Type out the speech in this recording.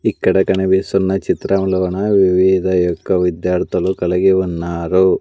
ఇక్కడ కనిపిస్తున్న చిత్రంలోన వివిధ యొక్క విద్యార్థులు కలిగి ఉన్నారు.